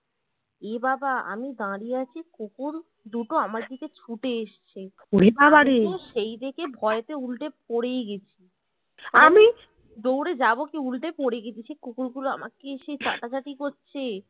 এ বাবা আমি দাঁড়িয়ে আছি কুকুর দুটো আমার দিকে ছুটে এসছে সেই দেখে ভয়েতে উল্টে পরেই গেছি দৌড়ে যাবো কি উল্টে পরে গেছি সেই কুকুরগুলো আমাকে এসে চাঁটাচাঁটি করছে